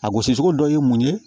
A gosicogo dɔ ye mun ye